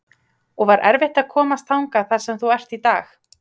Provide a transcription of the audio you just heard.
og var erfitt að komast þangað þar sem þú ert í dag?